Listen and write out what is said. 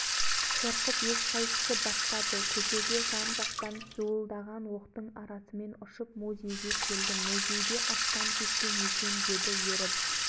сөйтіп самсаған жаудың арасынан жаңбырдай жауған оқтын ішінен осы қолыммен исламның қасиетті құранын мұсылман советіне әкеліп бердім